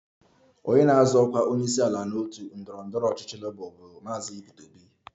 Onye na-azọ ọkwa onyeisiala n'otu ndọrọ ndọrọ ọchịchị Labour bụ Maazị Peter Obi